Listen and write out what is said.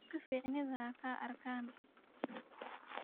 Dadka ficnidha xaarkan.